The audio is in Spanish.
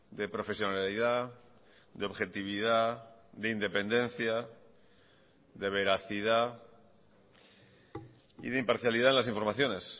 de profesionalidad de objetividad de independencia de veracidad y de imparcialidad las informaciones